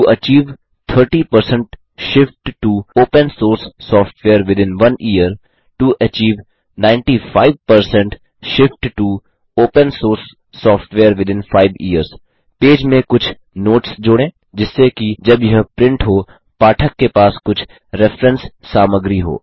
to achieve 30 shift to open source software within 1 year to achieve 95 shift to open source software within 5 years page में कुछ notes जोड़ें जिससे कि जब यह प्रिंट हो पाठक के पास कुछ रेफ्रेंस सामग्री हो